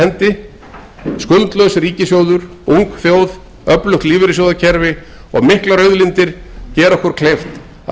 staðar skuldlaus ríkissjóður ung þjóð öflugt lífeyrissjóðakerfi og miklar auðlindir gera okkur kleift að